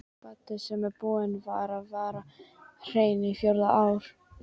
Baddi sem búinn var að vera hreinn á fjórða ár.